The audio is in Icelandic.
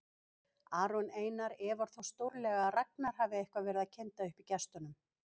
Aron Einar efar þó stórlega að Ragnar hafi eitthvað verið að kynda upp í gestunum.